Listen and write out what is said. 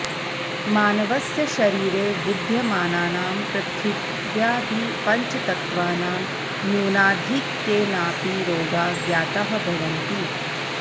मानवस्य शरीरे विद्यमानानां पृथिव्यादि पञ्चतत्वानां न्यूनाधिक्केनापि रोगाः ज्ञाताः भवन्ति